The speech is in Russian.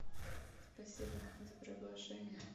спасибо за приглашение